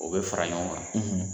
O bɛ fara ɲɔgɔn kan,